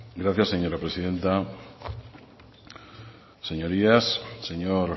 gracias señora presidenta señorías señor